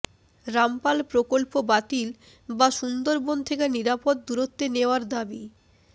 রামপাল প্রকল্প বাতিল বা সুন্দরবন থেকে নিরাপদ দূরত্বে নেওয়ার দাবি